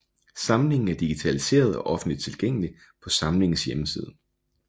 Samlingen er digitaliseret og offentligt tilgængelig på samlingens hjemmeside